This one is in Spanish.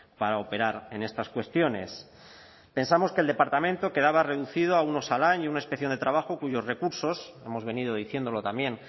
para operar en estas cuestiones pensamos que el departamento quedaba reducido a un osalan y a una inspección de trabajo cuyos recursos hemos venido diciéndolo también